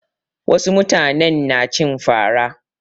Wasu mutanen na cin fara.